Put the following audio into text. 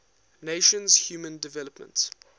nations human development